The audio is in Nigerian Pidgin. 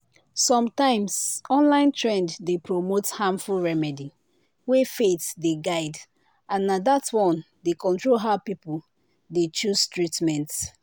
sometimes online trend dey promote harmful remedy wey faith dey guide and na that one dey control how people dey choose treatment.